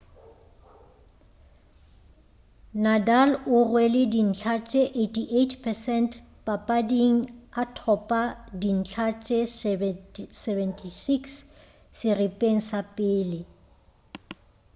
nadal o rwele dintlha tše 88% papading a thopa dintlha tše 76 seripeng sa pele